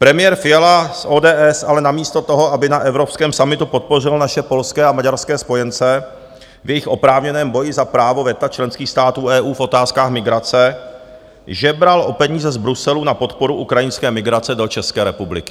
Premiér Fiala z ODS ale namísto toho, aby na evropském summitu podpořil naše polské a maďarské spojence v jejich oprávněném boji za právo veta členských států EU v otázkách migrace, žebral o peníze z Bruselu na podporu ukrajinské migrace do České republiky.